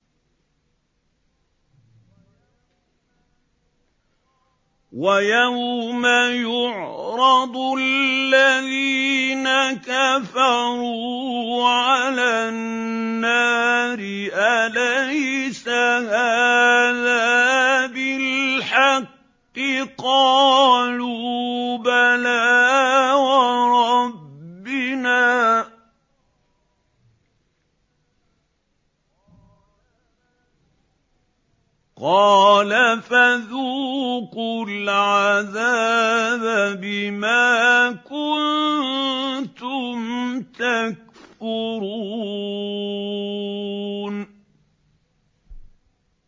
وَيَوْمَ يُعْرَضُ الَّذِينَ كَفَرُوا عَلَى النَّارِ أَلَيْسَ هَٰذَا بِالْحَقِّ ۖ قَالُوا بَلَىٰ وَرَبِّنَا ۚ قَالَ فَذُوقُوا الْعَذَابَ بِمَا كُنتُمْ تَكْفُرُونَ